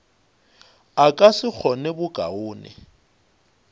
a ka se kgone bokaone